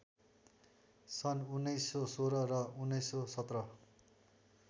सन् १९१६ र १९१७